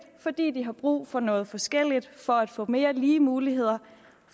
for de de har brug for noget forskelligt for at få mere lige muligheder